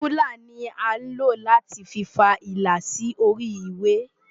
Rúlà ni à ń lò láti fa ilà sí orí ìwé.